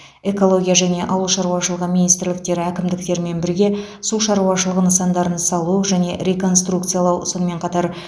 экология және ауыл шаруашылығы министрліктері әкімдіктермен бірге су шаруашылығы нысандарын салу және реконструкциялау сонымен қатар